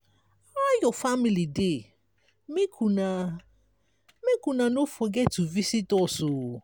how your family dey? make una make una no forget to visit us.